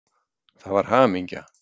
Það var hamingja.